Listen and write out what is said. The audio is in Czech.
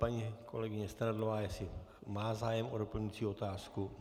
Paní kolegyně Strnadlová, jestli má zájem o doplňující otázku.